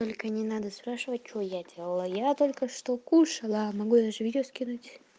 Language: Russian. только не надо спрашивать что я делала я только что кушала могу даже видео скинуть